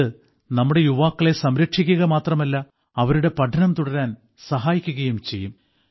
ഇത് നമ്മുടെ യുവാക്കളെ സംരക്ഷിക്കുക മാത്രമല്ല അവരുടെ പഠനം തുടരാൻ സഹായിക്കുകയും ചെയ്യും